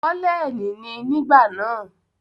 Kọ́lẹ́ẹ̀nì ni nígbà náà.